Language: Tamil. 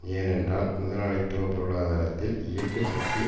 ஏனென்றால் முதலாளித்துவ பொருளாதாரத்தில் இயக்கு சக்தி